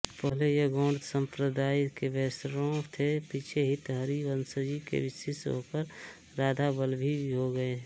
पहले ये गौड़ सम्प्रदाय के वैष्णव थे पीछे हितहरिवंशजी के शिष्य होकर राधाबल्लभी हो गए